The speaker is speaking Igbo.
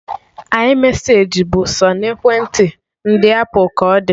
iMeseji bụ sọ na ekwentị ndị apụl ka ọ dị